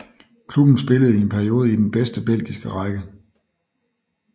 Klubben spillede i en periode i den bedste belgiske række